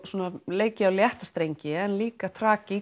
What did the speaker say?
leikið á létta strengi en líka